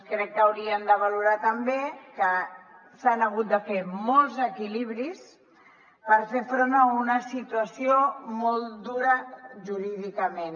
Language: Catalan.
crec que haurien de valorar també que s’han hagut de fer molts equilibris per fer front a una situació molt dura jurídicament